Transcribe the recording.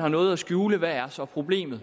har noget at skjule hvad er så problemet